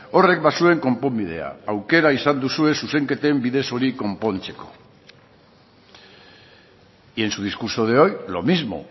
horrek bazuen konponbidea aukera izan duzue zuzenketen bidez hori konpontzeko y en su discurso de hoy lo mismo